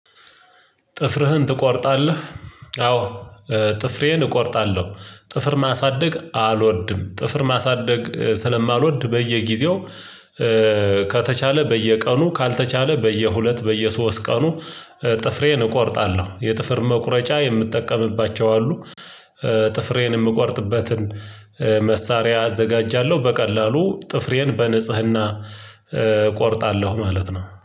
ጥፍርህን ትቆርጣለህ? አዎ ጥፍሬን እቆርጣለሁ። ጥፍር ማሳደግ አልወድም ጥፍር ማሳደግ ስለማልወድ በየጊዜው። ከተቻለ በየቀኑ ካልተቻለ በየሁለት በየሶስት ቀኑ ጥፍሬን እቆርጣለሁ የጥፍር መቁረጫ የምጠቀምባቸው አሉ። ጥፍሬን የምቆርጥበትን። መሳሪያ አዘጋጃለሁ በቀላሉ ጥፍሬን በንጽህና እቆርጣለሁ ማለት ነው